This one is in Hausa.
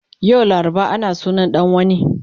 Yau laraba ana sunan dan wana